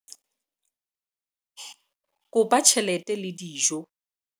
kopa tjhelete le dijo